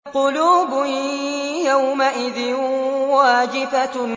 قُلُوبٌ يَوْمَئِذٍ وَاجِفَةٌ